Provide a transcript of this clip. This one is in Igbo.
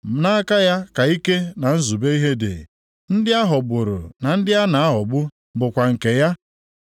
Nʼaka ya ka ike na nzube ihe dị; ndị a ghọgburu na ndị na-aghọgbu bụkwa nke ya.